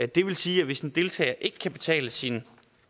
det vil sige at hvis en deltager ikke kan betale sin